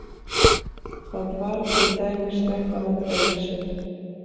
Það var til dæmis þetta með Elísu.